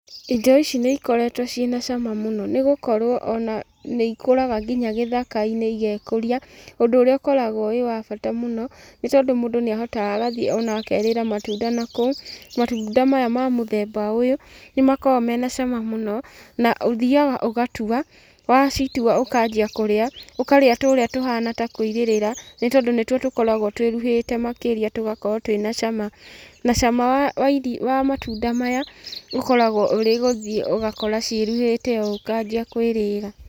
Indo ici nĩ ikoretwo ciĩna cama mũno, nĩ gũkorwo ona nĩ ikũraga nginya gĩthaka-inĩ igekũria, ũndũ ũrĩa ũkoragwo wĩ wa bata mũno, nĩ tondũ mũndũ nĩ ahotaga agathiĩ ona akerĩra matunda nakũu. Matunda maya ma mũthemba ũyũ, nĩ makoragwo mena cama mũno, na ũthiaga ũgatua, wacitua ũkanjia kũrĩa, ũkarĩa tũrĩa tũhana ta kũirĩrĩra, nĩ tondũ nĩtuo tũkoragwo twĩruhĩte makĩria tũgakorwo twĩna cama, na cama wa matunda maya ũkoragwo ũrĩ gũthiĩ ũgakora ciĩruhĩte ũũ ũkanjia kwĩrĩra.